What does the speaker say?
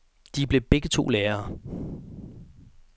De blev begge to lærere.